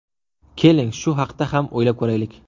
Keling, shu haqda ham o‘ylab ko‘raylik.